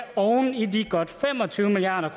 oven i de godt fem og tyve milliard